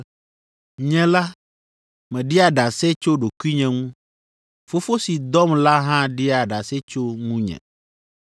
Nye la, meɖia ɖase tso ɖokuinye ŋu. Fofo si dɔm la hã ɖia ɖase tso ŋunye.”